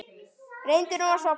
Reyndu nú að sofna.